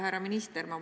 Härra minister!